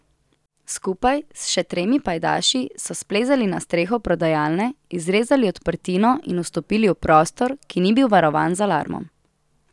Skupaj s še tremi pajdaši so splezali na streho prodajalne, izrezali odprtino in vstopili v prostor, ki ni bil varovan z alarmom.